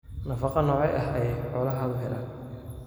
Nafaqo noocee ah ayay xoolahaagu helaan?